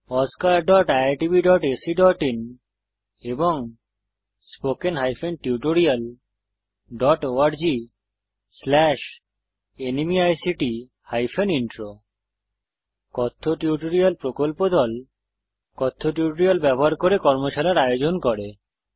oscariitbacআইএন এবং spoken tutorialorgnmeict intro কথ্য tutorial প্রকল্প দল কথ্য টিউটোরিয়াল ব্যবহার করে কর্মশালার আয়োজন করে